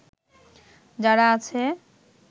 যারা আছে